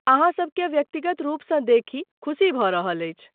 अहाँ सबकेँ व्यक्तिगत रूपसँ देखि खुशी भऽ रहल अछि।